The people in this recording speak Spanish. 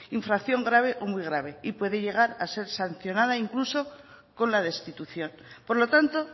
infracción grave o muy grave y puede llegar a ser sancionada incluso con la destitución por lo tanto